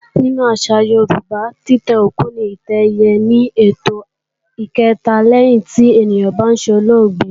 Nínú àṣà Yorùbá, títẹ́ òkú ní ìtẹ́ ẹ̀yẹ ni ètò kẹ̀ta lẹ́yìn tí ènìyàn bá solóògbé